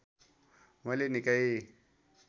मैले निकै